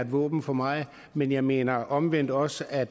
våben for meget men jeg mener omvendt også at